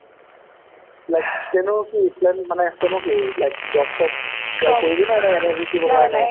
like steno কি breathing plan মানে, steno কি like মানে job চব কৰিবি নে নে এনে হিকিবি নে ?